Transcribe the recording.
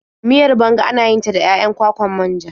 Miyar banga ana yin ta da 'ya'yan kwakwar manja.